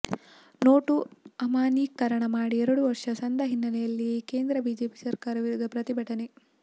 note ಅಮಾನ್ಯೀಕರಣ ಮಾಡಿ ಎರಡು ವರ್ಷ ಸಂದ ಹಿನ್ನೆಲೆಯಲ್ಲಿ ಕೇಂದ್ರ ಬಿಜೆಪಿ ಸರ್ಕಾರದ ವಿರುದ್ಧ ಪ್ರತಿಭಟನೆ